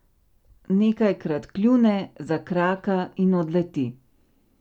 Nekajkrat kljune, zakraka in odleti.